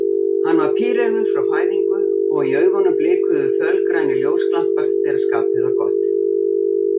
Hann var píreygður frá fæðingu og í augunum blikuðu fölgrænir ljósglampar þegar skapið var gott.